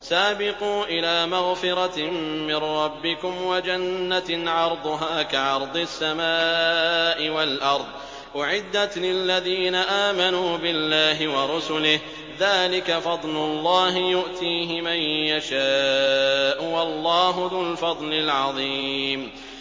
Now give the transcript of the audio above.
سَابِقُوا إِلَىٰ مَغْفِرَةٍ مِّن رَّبِّكُمْ وَجَنَّةٍ عَرْضُهَا كَعَرْضِ السَّمَاءِ وَالْأَرْضِ أُعِدَّتْ لِلَّذِينَ آمَنُوا بِاللَّهِ وَرُسُلِهِ ۚ ذَٰلِكَ فَضْلُ اللَّهِ يُؤْتِيهِ مَن يَشَاءُ ۚ وَاللَّهُ ذُو الْفَضْلِ الْعَظِيمِ